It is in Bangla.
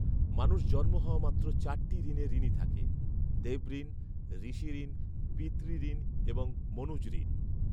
মানুষ জন্ম হওয়ামাত্র চারটি ঋণে ঋণী থাকে, দেবঋণ, ঋষিঋণ, পিতৃঋণ এবং মনুজঋণ